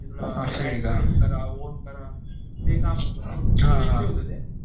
असं ये का हा हा